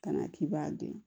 Ka na k'i b'a dun